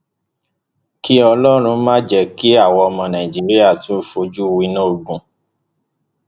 kí ọlọrun má jẹ kí àwa ọmọ nàìjíríà tún fojú winá ogun